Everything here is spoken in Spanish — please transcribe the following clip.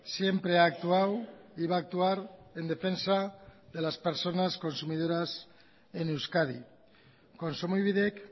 siempre ha actuado y va a actuar en defensa de las personas consumidoras en euskadi kontsumobidek